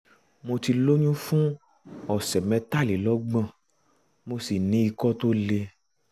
mo ti lóyún fún ọ̀sẹ̀ mẹtàlélọ́gbọ̀n mo sì ní ikọ́ tó le